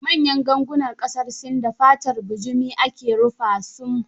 Manyan gangunan ƙasar Sin, da fatar bujumi ake rufa sum